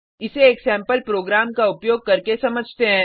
इसे एक sample program का उपयोग करके समझते हैं